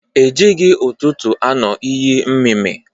E jịghị ụtụtụ anu iyi mmịmị.